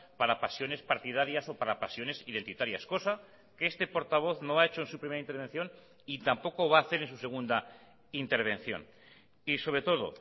para pasiones partidarias o para pasiones identitarias cosa que este portavoz no ha hecho en su primera intervención y tampoco va a hacer en su segunda intervención y sobre todo